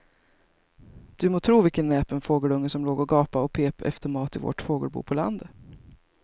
Du må tro vilken näpen fågelunge som låg och gapade och pep efter mat i vårt fågelbo på landet.